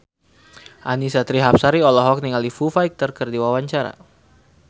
Annisa Trihapsari olohok ningali Foo Fighter keur diwawancara